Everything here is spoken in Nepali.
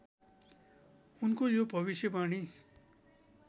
उनको यो भविष्यवाणी